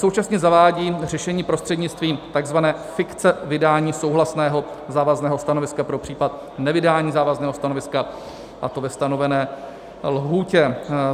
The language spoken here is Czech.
Současně zavádí řešení prostřednictvím tzv. fikce vydání souhlasného závazného stanoviska pro případ nevydání závazného stanoviska, a to ve stanovené lhůtě.